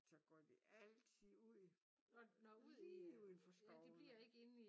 Så går de altid ud lige uden for skoven